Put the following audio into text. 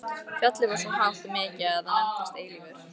Fjallið var svo hátt og mikið að það nefndist Eilífur.